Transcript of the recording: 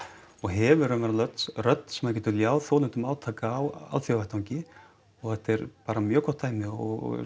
og hefur raunverulega rödd sem það getur ljáð þolendum átaka á alþjóðavettvangi og þetta er bara mjög gott dæmi og